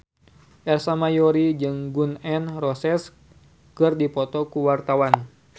Ersa Mayori jeung Gun N Roses keur dipoto ku wartawan